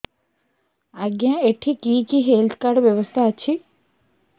ଆଜ୍ଞା ଏଠି କି କି ହେଲ୍ଥ କାର୍ଡ ବ୍ୟବସ୍ଥା ଅଛି